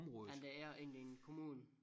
Ja men det er inde i en kommunen